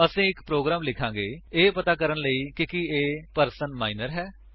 ਅਸੀ ਇੱਕ ਪ੍ਰੋਗਰਾਮ ਲਿਖਾਂਗੇ ਇਹ ਪਤਾ ਕਰਨ ਲਈ ਕਿ ਕੀ ਇੱਕ ਪਰਸਨ ਮਾਇਨਰ ਹੈ